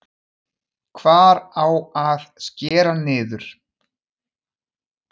Hvar á að skera niður?